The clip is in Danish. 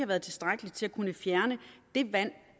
været tilstrækkeligt til at kunne fjerne det vand